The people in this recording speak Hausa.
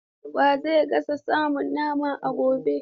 Wa zai gasa samun naman a gobe?